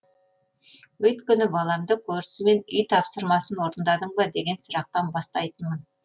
өйткені баламды көрісімен үй тапсырмасын орындадың ба деген сұрақтан бастайтынмын